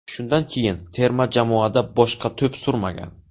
Shundan keyin terma jamoada boshqa to‘p surmagan.